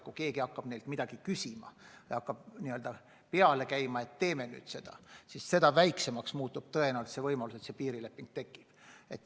Kui keegi hakkab neilt midagi küsima, hakkab peale käima, et teeme nüüd seda või teist, siis seda väiksemaks tõenäoliselt muutub võimalus, et see piirileping sünnib.